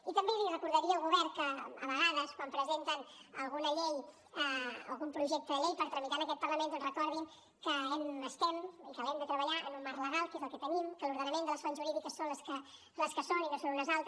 i també li recordaria al govern que a vegades quan presenten alguna llei o algun projecte de llei per tramitar en aquest parlament doncs recordin que estem i que l’hem de treballar en un marc legal que és el que tenim que l’ordenament de les fonts jurídiques és el que és i no és un altre